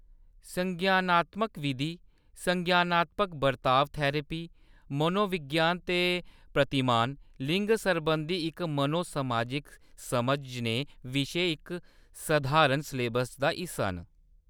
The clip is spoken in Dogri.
संज्ञानात्मक विधि, संज्ञानात्मक बर्ताव थेरेपी, मनोविज्ञान दे प्रतिमान, लिंग सरबंधी इक मनो-समाजिक समझ जनेहे विशे इक सधारण सलेबस दा हिस्सा न।